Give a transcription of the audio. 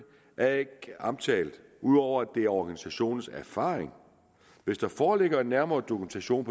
er ikke omtalt ud over at det er organisationens erfaring hvis der foreligger en nærmere dokumentation